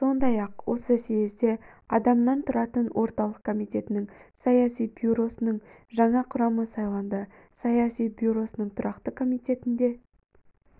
сондай-ақ осы съезде адамнан тұратын орталық комитетінің саяси бюросының жаңа құрамы сайланды саяси бюросының тұрақты комитетінде